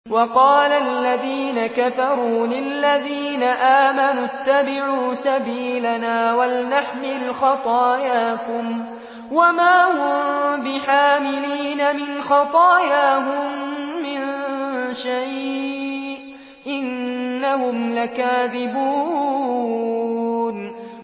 وَقَالَ الَّذِينَ كَفَرُوا لِلَّذِينَ آمَنُوا اتَّبِعُوا سَبِيلَنَا وَلْنَحْمِلْ خَطَايَاكُمْ وَمَا هُم بِحَامِلِينَ مِنْ خَطَايَاهُم مِّن شَيْءٍ ۖ إِنَّهُمْ لَكَاذِبُونَ